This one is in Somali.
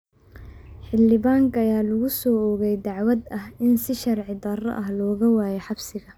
Xildhibaanka ayaa lagu soo oogay dacwad ah in si sharci darro ah looga waayay xabsiga.